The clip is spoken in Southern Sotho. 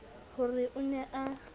ho re o ne a